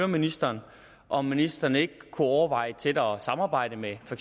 ministeren om ministeren ikke kunne overveje et tættere samarbejde med for